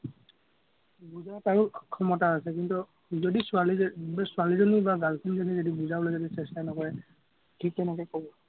বুজাৰ তাৰো ক্ষমতা আছে, কিন্তু, যদি ছোৱালী ছোৱালীজনী বা girl friend জনীয়ে যদি বুজাবলৈ চেষ্টা নকৰে, সি কেনেকে কব